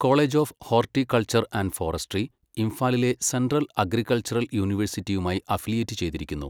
College of horticulture and forestry, ഇംഫാലിലെ central agricultural യൂണിവേഴ്സിറ്റിയുമായി affiliate ചെയ്തിരിക്കുന്നു.